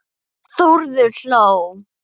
Þórður hló.